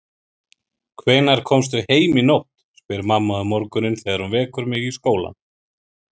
Hvenær komstu heim í nótt, spyr mamma um morguninn þegar hún vekur mig í skólann.